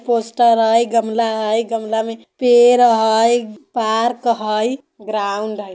पोस्टर हई गमला हई गमला में पेड़ हई पार्क हई ग्राउंड हई।